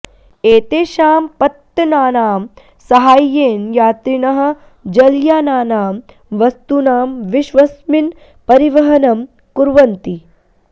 एतेषां पत्तनानां साहाय्येन यात्रिणः जलयानानां वस्तूनां विश्वस्मिन् परिवहनं कुर्वन्ति